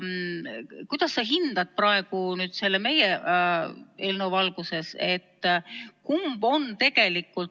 Kuidas sa hindad meie eelnõu valguses, kumb on tegelikult?